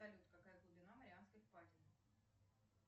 салют какая глубина марианской впадины